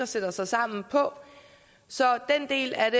sætte sig sammen på så den del af